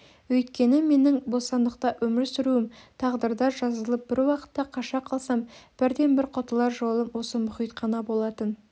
өйткені менің бостандықта өмір сүруім тағдырда жазылып бір уақытта қаша қалсам бірден-бір құтылар жолым осы мұхит қана болатын